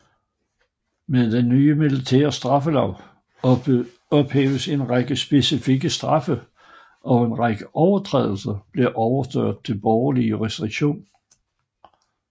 Med den nye militære straffelov ophævedes en række specifikke straffe og en række overtrædelser blev overført til borgerlig jurisdiktion